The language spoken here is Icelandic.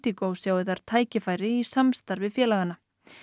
Indigo sjái þar tækifæri í samstarfi félaganna